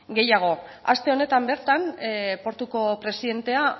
gehiago aste honetan bertan portuko presidentea